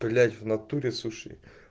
блять в натуре суши